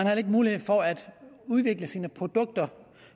heller ikke mulighed for at udvikle sine produkter